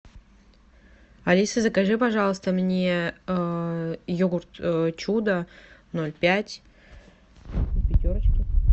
алиса закажи пожалуйста мне йогурт чудо ноль пять в пятерочке